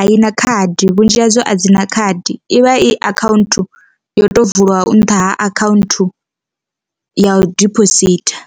a i na khadi vhunzhi hadzo a dzi na khadi ivha i akhaunthu yo to vulwa u nṱha ha akhaunthu ya u diphositha.